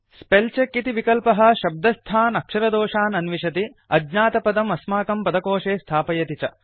spell check इति विकल्पः शब्दस्थान् अक्षरदोषान् अन्विषति अज्ञातपदम् अस्माकं पदकोशे स्थापयति च